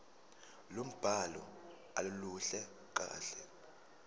lombhalo aluluhle kahle